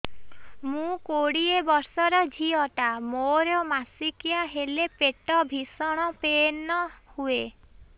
ମୁ କୋଡ଼ିଏ ବର୍ଷର ଝିଅ ଟା ମୋର ମାସିକିଆ ହେଲେ ପେଟ ଭୀଷଣ ପେନ ହୁଏ